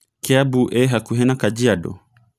kiambu ĩhakũhĩ na kajiado